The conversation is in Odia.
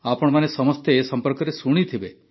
ଆପଣମାନେ ସମସ୍ତେ ଏ ସମ୍ପର୍କରେ ଶୁଣିଥିବେ